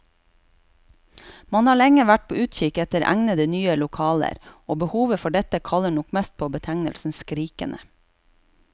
Man har lenge vært på utkikk etter egnede, nye lokaler, og behovet for dette kaller nok mest på betegnelsen skrikende.